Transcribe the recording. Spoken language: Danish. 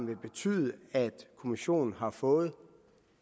vil betyde at kommissionen har fået